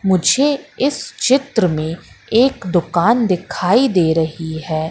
मुझे इस चित्र में एक दुकान दिखाई दे रही है।